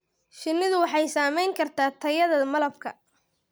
Shinnidu waxay saamayn kartaa tayada malabka.